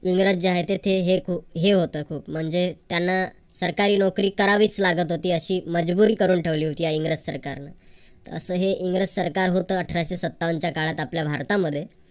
इंग्रज जे आहे ते तिथे हे होत खूप म्हणजे ते त्यांना सरकारी नोकरी करावीच लागत होती. अशी मजबुरी करून ठेवली होती या सरकारने असं हे इंग्रज सरकार होत अठराशे सत्तावनच्या काळात आपल्या भारतामध्ये